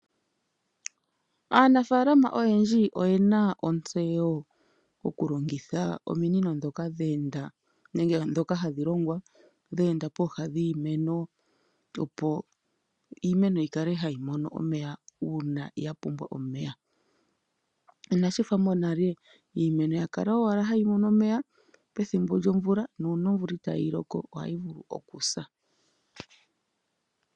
Aanafalama oyendji oyena otseyo okulongitha ominino ndhoka dheenda nenge dhoka hadhi longwa dheenda pooha dhiimeno opo iimeno yikale yamona omeya uuna yapumbwa omeya ina shi tha monale iimeno yakala owala hayi mono omeya ethimbo lyo vula nuuna ovula itayi loko ohayi vulu okusa.